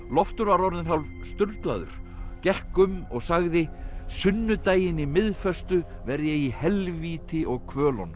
Loftur var orðinn hálf sturlaður gekk um og sagði sunnudaginn í verð ég í helvíti og